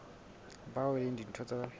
bao e leng ditho tsa